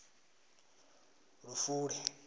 lufule